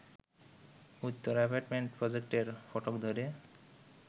Uttara apartment প্রজেক্টের ফটক ধরে